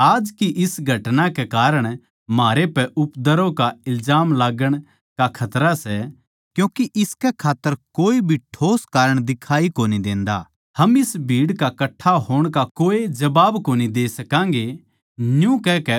आज की इस घटना कै कारण म्हारै पै उपद्रव का इल्जाम लाग्गण का खतरा सै क्यूँके इसकै खात्तर कोए भी ठोस कारण दिखाई कोनी देंदा हम इस भीड़ के कट्ठा होण का कोए जबाब कोनी दे सकांगें